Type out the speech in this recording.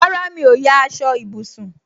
Rárá, mi ò ya aṣọ ìbùsùn